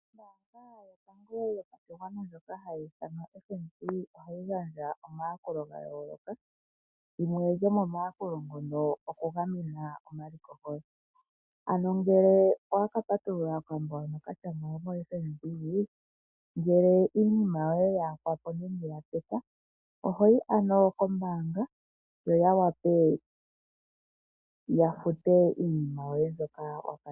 Ombaanga yotango yopashigwana ndjoka hayi ithanwa FNB, ohayi gandja omayakulo ga yooloka, limwe lyomo mayakulo ngono oku gamena omaliko goye. Ano ngele owaka patulula okambo hono ka tya ngawo koFNB, ngele iinima yoye ya yakwapo nenge ya teka, ohoyi ano kombaanga yo ya wape yafute iinima yoye mbyoka wa kanitha.